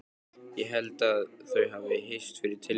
Ég held þau hafi hist fyrir tilviljun.